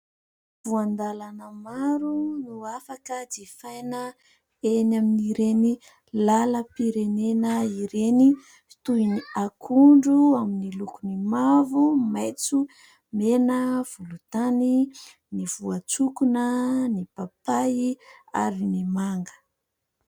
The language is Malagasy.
Voan-dalana maro no afaka jifaina eny amin'ireny lalam-pirenena ireny toy ny akondro amin'ny lokony mavo, maintso, mena, volon-tany ; ny voantsokona, ny papay ary ny manga.